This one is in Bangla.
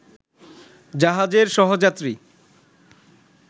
জাহাজের সহযাত্রী